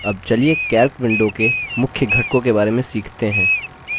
अब चलिए calc window के मुख्य घटकों के बारे में सीखते हैं